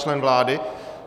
Člen vlády?